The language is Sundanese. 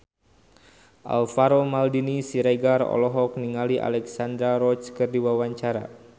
Alvaro Maldini Siregar olohok ningali Alexandra Roach keur diwawancara